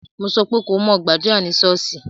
Mo sọ pé ko mo gbàdúrà ní ṣọ́ọ́ṣì!